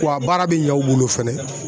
W'a baara be ɲa u bolo fɛnɛ